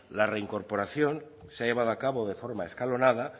la reincorporación se ha llevado a cabo de forma escalonada